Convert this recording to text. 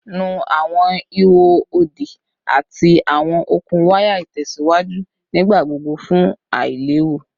Nu awọn iho odi ati awọn okun waya itẹsiwaju nigbagbogbo fun ailewu